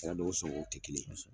A ya dɔn ko sɔngɔw tɛ kelen ye.